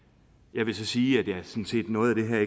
jeg vil så sige at der er noget af det her